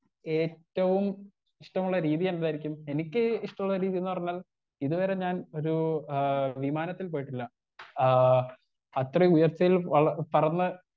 Speaker 1 ഏറ്റവും ഇഷ്ടമുള്ള രീതിയെന്തായിരിക്കും എനിക്ക് ഇഷ്ടള്ള രീതീന്ന് പറഞ്ഞാൽ ഇത് വരെ ഞാൻ ഒരൂ ആ വിമാനത്തിൽ പോയിട്ടില്ല ആ അത്രയും ഉയർച്ചയിൽ പറന്ന്.